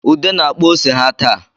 Ude na-akpa ose ha taa